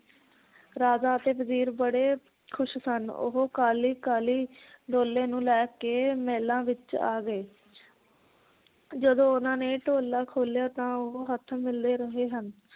ਰਾਜਾ ਅਤੇ ਵਜ਼ੀਰ ਬੜੇ ਖੁਸ਼ ਸਨ ਉਹ ਕਾਹਲੀ ਕਾਹਲੀ ਡੋਲੇ ਨੂੰ ਲੈ ਕੇ ਮਹਿਲਾਂ ਵਿਚ ਆ ਗਏ ਜਦੋਂ ਉਹਨਾਂ ਨੇ ਢੋਲਾ ਖੋਲਿਆਂ ਤਾਂ ਉਹ ਹੱਥ ਮਲਦੇ ਰਹੇ ਹਨ